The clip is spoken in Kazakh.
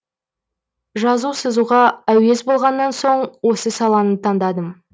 жазу сызуға әуес болғаннан соң осы саланы таңдадым